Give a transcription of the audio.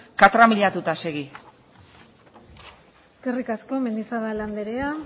katramilatuta segi eskerrik asko mendizabal andrea